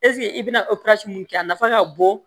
i bɛna mun kɛ a nafa ka bon